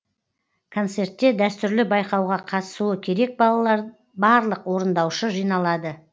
концертте дәстүрлі байқауға қатысуы керек балалар барлық орындаушы жиналады